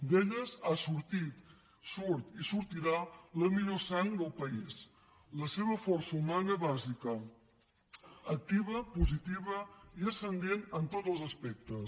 d’elles ha sortit surt i sortirà la millor sang del país la seva força humana bàsica activa positiva i ascendent en tots els aspectes